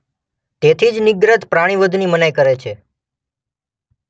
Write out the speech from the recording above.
તેથી જ નિર્ગ્રંથ પ્રાણીવધની મનાઈ કરે છે.